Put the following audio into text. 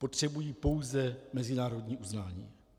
Potřebují pouze mezinárodní uznání.